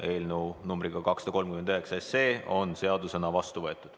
Eelnõu numbriga 239 on seadusena vastu võetud.